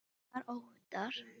Hver var Óttar?